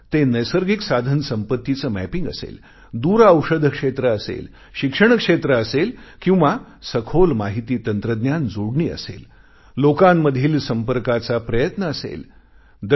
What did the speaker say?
मग ते नैसर्गिक साधनसंपत्तीचं मॅपिंग करणे असेल दूरऔषध क्षेत्र असेल शिक्षण क्षेत्र असेल किंवा अधिक सखोल माहिती तंत्रज्ञान जोडणी असेल लोकांमधील संपर्काचा प्रयत्न असेल